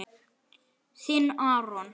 Þinn, Aron.